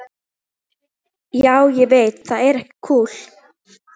Já, ég veit það er ekki kúl.